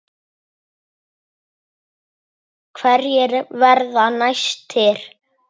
Hverjir verða næstir?